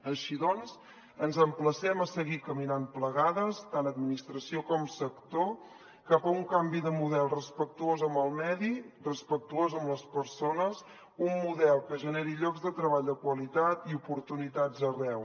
així doncs ens emplacem a seguir caminant plegades tant l’administració com el sector cap a un canvi de model respectuós amb el medi respectuós amb les persones un model que generi llocs de treball de qualitat i oportunitats arreu